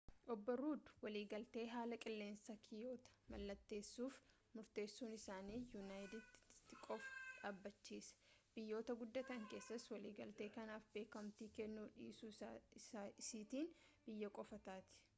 obbo ruud waliigaltee haala qilleensaa kiyootoo mallateessuuf murteessuun isaanii yuunaayitid isteetsin qofaa dhaabachiisa biyyoota guddatan keessaas waliigaltee kanaaf beekamtii kennuu dhiisuu isiitiin biyya qofaa taati